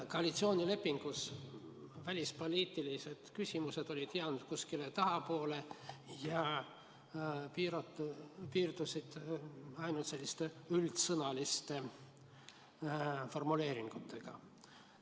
Koalitsioonilepingus olid välispoliitilised küsimused jäänud kuskile tahapoole ja piirduti ainult üldsõnaliste formuleeringutega.